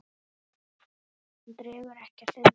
Hún dregur ekkert undan.